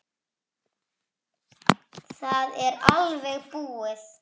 Það er alveg búið.